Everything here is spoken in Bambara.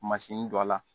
Masini don a la